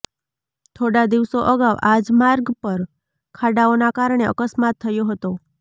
થોડા દિવસો અગાઉ આજ માર્ગ પર ખાડાઓના કારણે અકસ્માત થયો હતો